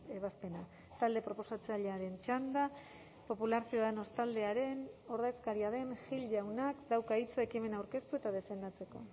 ebazpena talde proposatzailearen txanda popular ciudadanos taldearen ordezkaria den gil jaunak dauka hitza ekimena aurkeztu eta defendatzeko